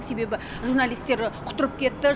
себебі журналистер құтырып кетті